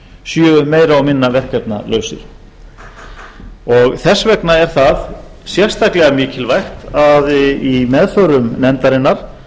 séu meira og minna verkefnalausir þess vegna er það sérstaklega mikilvægt að í meðförum nefndarinnar